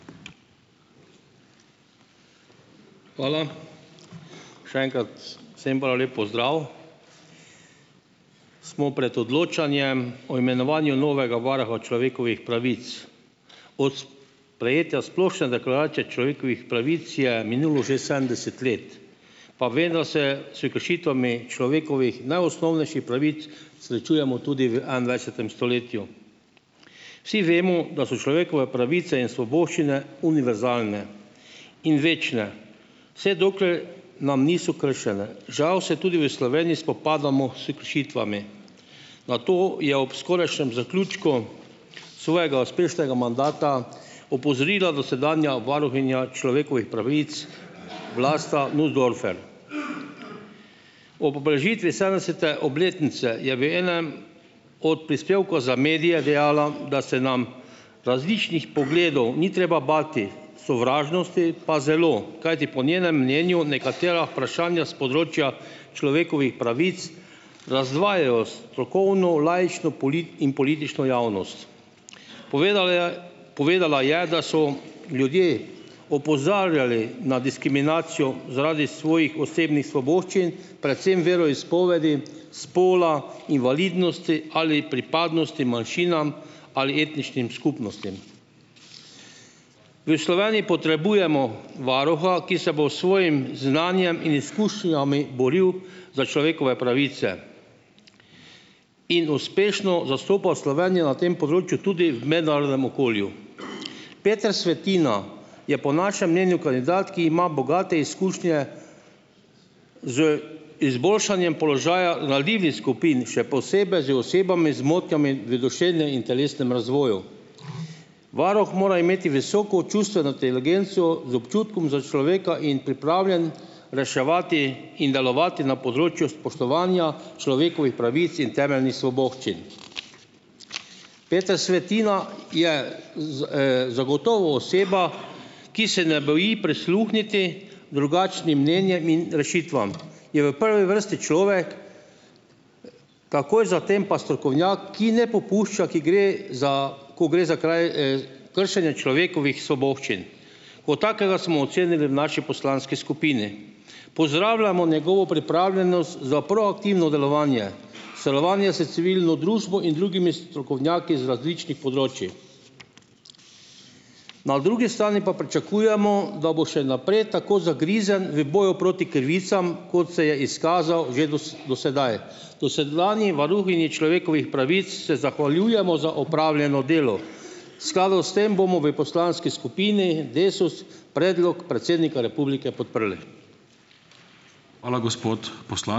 Hvala. Še enkrat vsem prav lep pozdrav. Smo pred odločanjem o imenovanju novega varuha človekovih pravic. Od sprejetja Splošne deklaracije človekovih pravic je minulo že sedemdeset let. Pa vendar se s kršitvami najosnovnejših človekovih pravic srečujemo tudi v enaindvajsetem stoletju. Vsi vemo, da so človekove pravice in svoboščine univerzalne in večne, vse dokler nam niso kršene. Žal se tudi v Sloveniji spopadamo s kršitvami. Na to je ob zaključku skorajšnjem svojega uspešnega mandata opozorila dosedanja varuhinja človekovih pravic Vlasta Nussdorfer. Ob obeležitvi sedemdesete obletnice je v enem od prispevkov za medije dejala, da se nam različnih pogledov ni treba bati, sovražnosti pa zelo, kajti po njenem mnenju nekatera vprašanja s področja človekovih pravic razdvajajo strokovno, laično in politično javnost. Povedala je, povedala je, da so ljudje opozarjali na diskriminacijo zaradi svojih osebnih svoboščin, predvsem veroizpovedi, spola, invalidnosti ali pripadnosti manjšinam ali etničnim skupnostim. V Sloveniji potrebujemo varuha, ki se bo s svojim znanjem in izkušnjami boril za človekove pravice in uspešno zastopal Slovenijo na tem področju tudi v mednarodnem okolju. Peter Svetina je po našem mnenju kandidat, ki ima bogate izkušnje z izboljšanjem položaja ranljivih skupin, še posebej z osebami z motnjami v duševnem in telesnem razvoju. Varuh mora imeti visoko čustveno inteligenco z občutkom za človeka in pripravljen reševati in delovati na področju spoštovanja človekovih pravic in temeljnih svoboščin. Peter Svetina je zagotovo oseba, ki se ne boji prisluhniti drugačnim mnenjem in rešitvam. Je v prvi vrsti človek, takoj za tem pa strokovnjak, ki ne popušča, ki gre za ko gre za kršenje človekovih svoboščin. Kot takega smo ocenili v naši poslanski skupini. Pozdravljamo njegovo pripravljenost za proaktivno delovanje, sodelovanje s civilno družbo in drugimi strokovnjaki z različnih področij. Na drugi strani pa pričakujemo, da bo še naprej tako zagrizen v boju proti krivicam, kot se je izkazal že do s do sedaj. Dosedanji varuhinji človekovih pravic se zahvaljujemo za opravljeno delo. V skladu s tem bomo v poslanski skupini Desus predlog predsednika republike podprli.